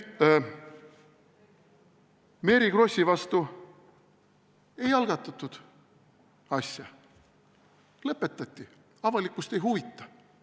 Mary Krossi vastu ei algatatud asja, õigemini see lõpetati – avalikkust ei huvita!